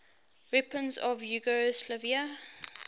weapons of yugoslavia